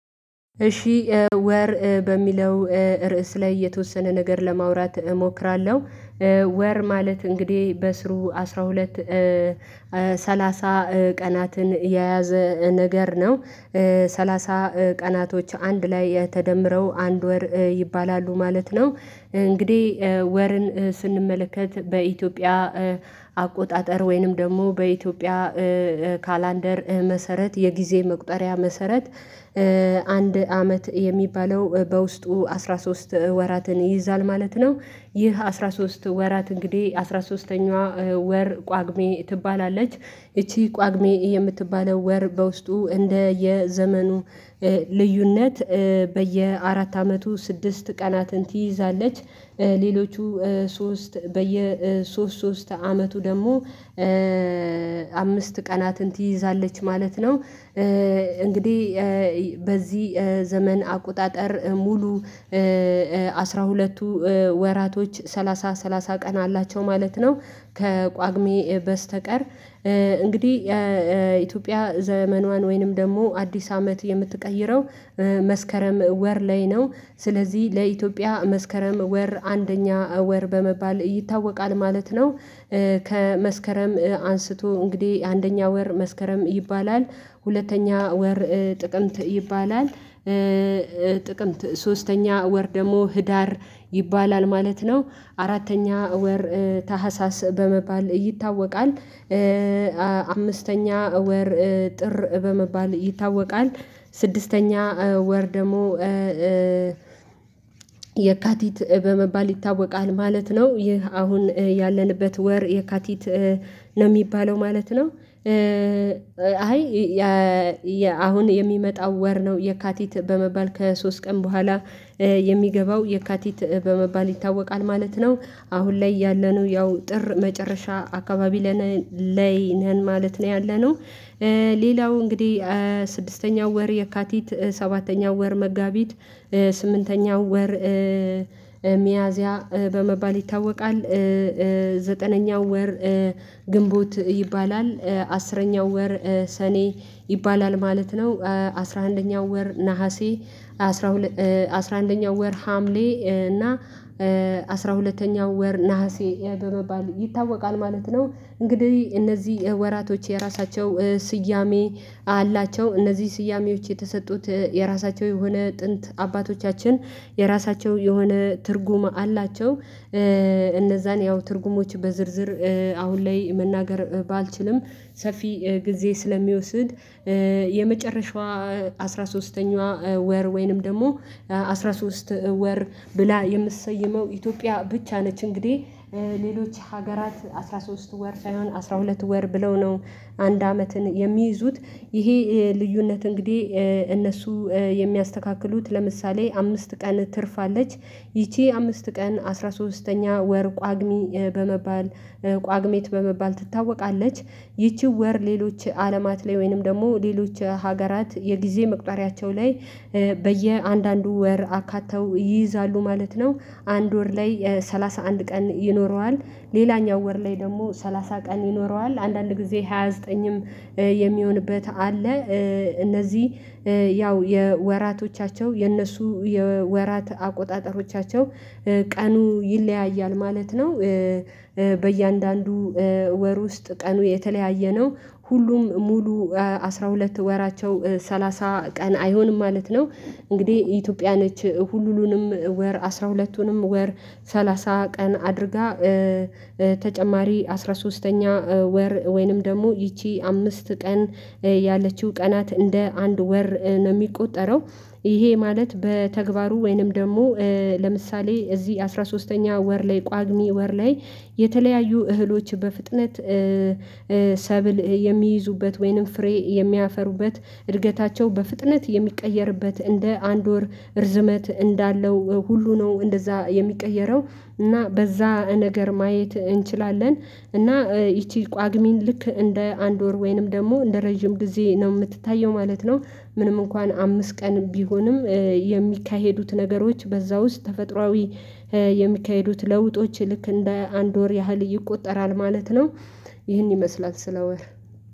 እሺ ወር በሚለው ርዕስ ላይ የተወሰነ ነገር ለማውራት እሞክራለሁ። ወር ማለት እንግዲህ በስሩ አስራ ሁለት ሰላሳ ቀናትን የያዘ ነገር ነው። ሰላሳ ቀናቶች አንድ ላይ የተደመረው አንድ ወር ይባላሉ ማለት ነው። እንግዲህ ወርን ስንመለከት በኢትዮጵያ አቆጣጠር ወይንም ደግሞ በኢትዮጵያ ካላንደር መሰረት የጊዜ መቁጠሪያ መሰረት አንድ አመት የሚባለው በውስጡ አስራ ሶስት ወራትን ይይዛል ማለት ነው። ይህ አስራ ሶስት ወራት እንግዲህ አስራ ሶስተኛዋ ወር ጳጉሜ ትባላለች ይቺ ጳጉሜ የምትባለው ወር በውስጡ እንደ የዘመኑ ልዩነት በየአራት አመቱ ስድስት ቀናትን ትይዛለች። ሌሎቹ ሶስት በየሶስት ሶስት አመቱ ደግሞ አምስት ቀናትን ትይዛለች ማለት ነው። እንግዲህ በዚህ ዘመን አቆጣጠር ሙሉ አስራ ሁለቱ ወራቶች ሰላሳ ሰላሳ ቀን አላቸው ማለት ነው። ከጳጉሜ በስተቀር እንግዲህ የኢትዮጵያ ዘመኗን ወይንም ደግሞ አዲስ አመት የምትቀይረው መስከረም ወር ላይ ነው። ስለዚህ ለኢትዮጵያ መስከረም ወር አንደኛ ወር በመባል ይታወቃል ማለት ነው። ከመስከረም አንስቶ እንግዲህ አንደኛ ወር መስከረም ይባላል ሁለተኛ ወር ጥቅምት ይባላል። ጥቅምት ሶስተኛ ወር ደግሞ ህዳር ይባላል ማለት ነው አራተኛ ወር ታህሳስ በመባል ይታወቃል። አምስተኛ ወር ጥር በመባል ይታወቃል ስድስተኛ ወር ደግሞ የካቲት በመባል ይታወቃል ማለት ነው። ይህ አሁን ያለንበት ወር የካቲት ነው የሚባለው ማለት ነው። አሁን የሚመጣው ወር ነው የካቲት በመባል ከሶስት ቀን በኋላ የሚገባው የካቲት በመባል ይታወቃል ማለት ነው። አሁን ላይ ያለነው ያው ጥር መጨረሻ አካባቢ ላይ ነን ማለት ነው ያለነው። ሌላው እንግዲህ ስድስተኛው ወር የካቲት ሰባተኛው ወር መጋቢት ስምንተኛው ወር ሚያዝያ በመባል ይታወቃል። ዘጠነኛው ወር ግንቦት ይባላል አስረኛው ወር ሰኔ ይባላል ማለት ነው። አስራ አንደኛው ወር ነሀሴ አስራ አንደኛው ወር ሀምሌ እና አስራ ሁለተኛው ወር ነሀሴ በመባል ይታወቃል ማለት ነው። እንግዲህ እነዚህ ወራቶች የራሳቸው ስያሜ አላቸው እነዚህ ስያሜዎች የተሰጡት የራሳቸው የሆነ ጥንት አባቶቻችን የራሳቸው የሆነ ትርጉም አላቸው። እነዛን ያው ትርጉሞች በዝርዝር አሁን ላይ መናገር ባልችልም ሰፊ ጊዜ ስለሚወስድ የመጨረሻዋ አስራ ሶስተኛዋ ወር ወይንም ደግሞ አስራ ሶስት ወር ብላ የምሰየመው ኢትዮጵያ ብቻ ነች እንግዲህ ሌሎች ሀገራት አስራ ሶስት ወር ሳይሆን አስራ ሁለት ወር ብለው ነው። አንድ አመትን የሚይዙት ይሄ ልዩነት እንግዲህ እነሱ የሚያስተካክሉት ለምሳሌ አምስት ቀን ትርፋለች ይቺ አምስት ቀን አስራ ሶስተኛ ወር ጳጉሜ በመባል ጳጉሚት በመባል ትታወቃለች። ይቺ ወር ሌሎች አለማት ላይ ወይንም ደግሞ ሌሎች ሀገራት የጊዜ መቁጠሪያቸው ላይ በየአንዳንዱ ወር አካተው ይይዛሉ ማለት ነው። አንድ ወር ላይ ሰላሳ አንድ ቀን ይኖረዋል ሌላኛው ወር ላይ ደግሞ ሰላሳ ቀን ይኖረዋል አንዳንድ ጊዜ ሃያ ዘጠኝም የሚሆንበት አለ እነዚህ ያው የወራቶቻቸው የነሱ የወራት አቆጣጠሮቻቸው ቀኑ ይለያያል ማለት ነው። በእያንዳንዱ ወር ውስጥ ቀኑ የተለያየ ነው ሁሉም ሙሉ አስራ ሁለት ወራቸው ሰላሳ ቀን አይሆንም ማለት ነው። እንግዲህ ኢትዮጵያን ሁሉንም ወር አስራ ሁለቱንም ወር ሰላሳ ቀን አድርጋ ተጨማሪ አስራ ሶስተኛ ወር ወይንም ደግሞ ይቺ አምስት ቀን ያለችው ቀናት እንደ አንድ ወር ነው የሚቆጠረው። ይሄ ማለት በተግባሩ ወይንም ደግሞ ለምሳሌ እዚህ አስራ ሶስተኛ ወር ላይ ጳጉሜ ወር ላይ የተለያዩ እህሎች በፍጥነት ሰብል የሚይዙበት ወይንም ፍሬ የሚያፈሩበት እድገታቸው በፍጥነት የሚቀየርበት እንደ አንድ ወር እርዝመት እንዳለው ሁሉ ነው እንደዛ የሚቀየረው። እና በዛ ነገር ማየት እንችላለን እና ይቺ ጳጉሜ ን ልክ እንደ አንድ ወር ወይንም ደግሞ እንደ ረጅም ጊዜ ነው የምትታየው ማለት ነው። ምንም እንኳን አምስት ቀን ቢሆንም የሚካሄዱት ነገሮች በዛ ውስጥ ተፈጥሮአዊ የሚካሄዱት ለውጦች ልክ እንደ አንድ ወር ያህል ይቆጠራል ማለት ነው። ይህን ይመስላል ስለ ወር